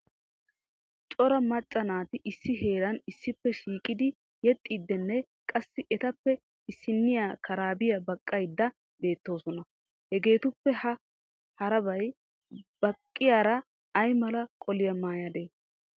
Cora macca naati issi heeran issippe shiiqidi yexxidinne qassi etappe issiniya karabiya baqqaydda bettoosona. Hegetuppe ha karabbiya baqqiyaara aymala qoliyaa maayade?